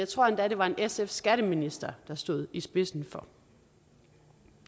tror at det var en sf skatteminister der stod i spidsen for